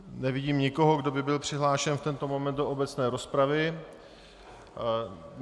Nevidím nikoho, kdo by byl přihlášen v tento moment do obecné rozpravy.